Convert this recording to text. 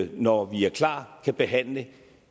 når vi er klar kan behandle